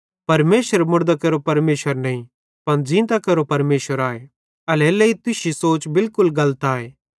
परमेशर मुड़दां केरो परमेशर नईं पन ज़ींतां केरो परमेशर आए एल्हेरेलेइ तुश्शी सोच बिलकुल गलत आए